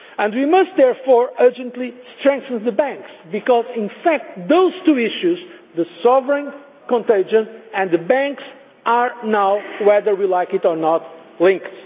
We must therefore urgently strengthen the banks because, in fact, those two issues the sovereign contagion and the banks are now, whether we like it or not, linked.